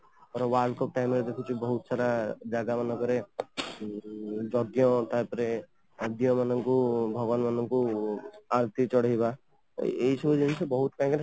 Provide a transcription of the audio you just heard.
ଥରେ World Cup time ରେ ଏମିତି ବହୁତ ସାରା ଜାଗା ମାନଙ୍କରେ ଯଜ୍ଞ ତାପରେ ଭଗବାନ ମାନଙ୍କୁ ଆଳତୀ ଚଢେଇବା ଏଇଇ ସବୁ ଜିନିଷ ବହୁତ time ରେ